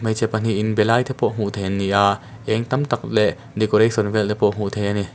hmeichhe pahnih inbe lai te pawh hmuh theih a ni a eng tam tak leh decoration vel te pawh hmuh theih a ni.